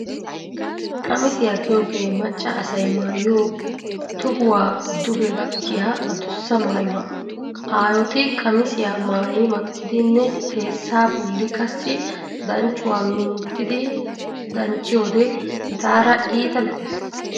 Qamisiyaa giyogee macca asay maayiyo, tohuwaa duge gakkiya adussa maayuwaa. Aayoti qamisiyaa maayi makkidinne xeessaa bolli qassi danccuwaa minttidi dancciyoode etaara iita lo"ees.